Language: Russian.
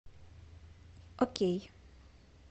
окей